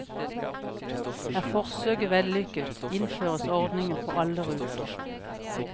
Er forsøket vellykket, innføres ordningen for alle ruter.